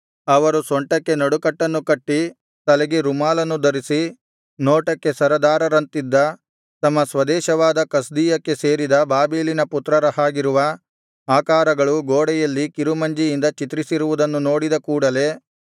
ಅವರು ಸೊಂಟಕ್ಕೆ ನಡುಕಟ್ಟನ್ನು ಕಟ್ಟಿ ತಲೆಗೆ ರುಮಾಲನ್ನು ಧರಿಸಿ ನೋಟಕ್ಕೆ ಸರದಾರರಂತಿದ್ದ ತಮ್ಮ ಸ್ವದೇಶವಾದ ಕಸ್ದೀಯಕ್ಕೆ ಸೇರಿದ ಬಾಬೆಲಿನ ಪುತ್ರರ ಹಾಗಿರುವ ಆಕಾರಗಳು ಗೋಡೆಯಲ್ಲಿ ಕಿರುಮಂಜಿಯಿಂದ ಚಿತ್ರಿಸಿರುವುದನ್ನು ನೋಡಿದ ಕೂಡಲೆ